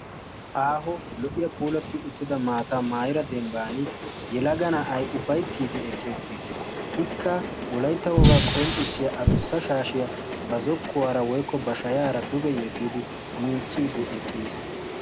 Aaho lo"iyaa puulatti uttida maataa maayira dembban yelaga na'ay ufayttiiddi eqqe uttiis. ikka wolaytta wogaa qonccissiya adussa shaashiyaa ba zokkuwaara woikko ba shayaara duge yeddidi miicciiddi eqqiis.